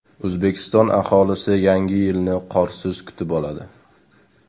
O‘zbekiston aholisi Yangi yilni qorsiz kutib oladi.